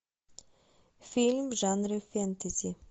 фильм в жанре фэнтези